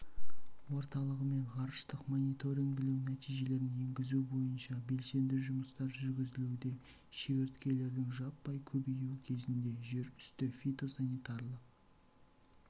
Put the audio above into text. орталығымен ғарыштық мониторингілеу нәтижелерін енгізу бойынша белсенді жұмыстар жүргізілуде шегірткелердің жаппай көбеюі кезеңінде жерүсті фитосанитарлық